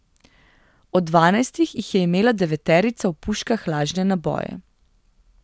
Od dvanajstih jih je imela deveterica v puškah lažne naboje.